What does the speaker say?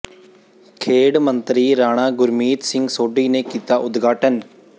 ਖੇਡ ਮੰਤਰੀ ਰਾਣਾ ਗੁਰਮੀਤ ਸਿੰਘ ਸੋਢੀ ਨੇ ਕੀਤਾ ਉਦਘਾਟਨ